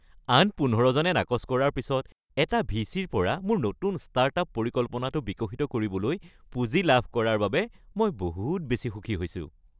আন ১৫জনে নাকচ কৰাৰ পিছত এটা ভিচি-ৰ পৰা মোৰ নতুন ষ্টাৰ্ট-আপ পৰিকল্পনাটো বিকশিত কৰিবলৈ পুঁজি লাভ কৰাৰ বাবে মই বহুত বেছি সুখী হৈছোঁ।